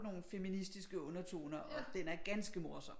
Nogle feministiske undertoner og den er ganske morsom